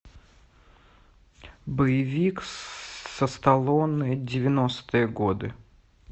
боевик со сталлоне девяностые годы